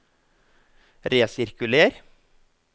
resirkuler